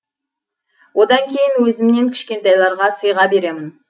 одан кейін өзімнен кішкентайларға сыйға беремін